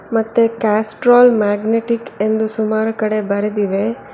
ಮತ್ತೆ Castrol magnetic ಎಂದು ಸುಮಾರು ಕಡೆ ಬರೆದಿದೆ.